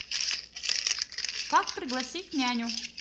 как пригласить няню